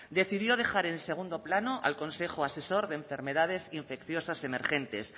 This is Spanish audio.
decidió dejar en segundo plano al consejo asesor de enfermedades infecciosas emergentes